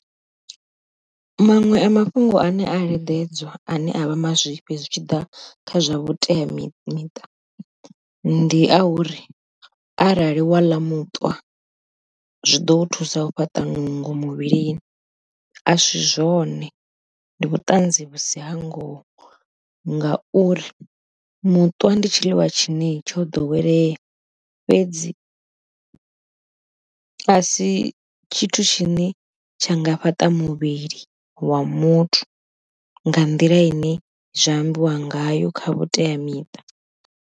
Maṅwe a mafhungo ane a leḓedzwa ane a vha mazwifhi zwi tshi ḓa kha zwa vhuteamiṱa miṱa, ndi a uri arali wa ḽa muṱwa zwiḓo u thusa u fhaṱa nungo muvhilini asi zwone ndi vhuṱanzi vhusi ha ngoho, ngauri muṱwa ndi tshiḽiwa tshine tsho ḓowelea fhedzi a si tshithu tshine tsha nga fhaṱa muvhili wa muthu nga nḓila ine zwa ambiwa ngayo kha vhuteamiṱa.